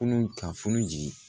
Kunun ka funu